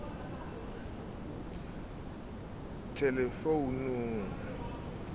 le thelefounung ho di e